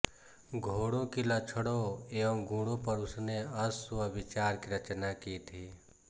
घोड़ो के लक्षणों व गुणों पर उसने अश्व विचार की रचना की थी